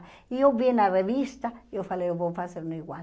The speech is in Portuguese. E eu vi na revista e falei, vou fazer igual.